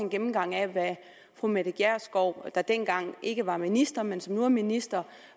gennemgang af hvad fru mette gjerskov der dengang ikke var minister men som nu er minister